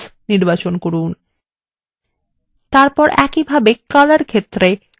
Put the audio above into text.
এরপর একইভাবে color ক্ষেত্রে green এর উপর click করুন